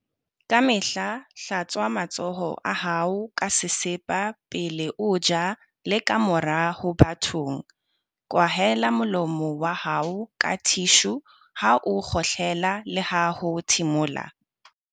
Kamehla hlatswa matsoho a hao ka sesepa pele o ja le kamora ho ba bathong. Kwahela molomo wa hao ka thishu ha o kgohlela leha ho thimola.